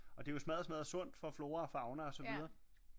Og det er jo smadder smadder sundt for flora og fauna og så videre